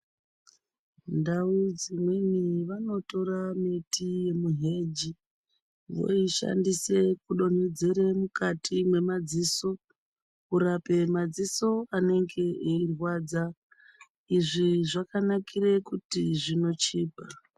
Ndau dzimweni vanotora miti yemuheji voishandisa kudonhedzera mukati memadziso kurapa madziso anonge eirwadza izvi zvakanakira kuti zvinochipa.